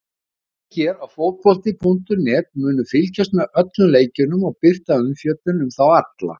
Við hér á fótbolti.net munum fylgjast með öllum leikjunum og birta umfjöllun um þá alla.